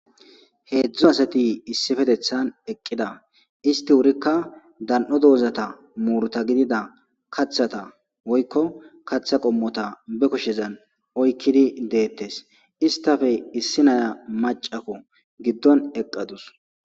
Heedzdzu asati issifetethan eqqida isti wurikka dan'o doozata muurta gidida kathata woykko kaththa qommota be koshezan oykkidi deettes istafe issi naya macako giddon eqqadus